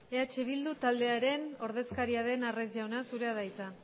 eh bildu taldearen ordezkaria den arraiz jauna zurea da hitza